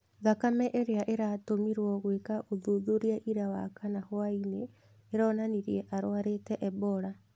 Thakame ĩrĩa ĩratũmirwo gwĩko ũthuthuria ira wakana hwa-inĩ ĩronanirie arwarĩte Ebola.